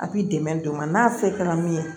A b'i dɛmɛ don o ma n'a fɛn kɛra min ye